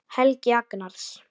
Helgi Agnars.